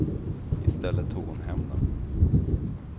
I stället tog hon hem dem.